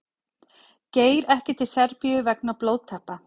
Geir ekki til Serbíu vegna blóðtappa